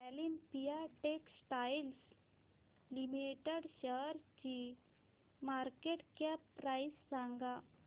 Olympia Textiles Limited शेअरची market cap price सांगा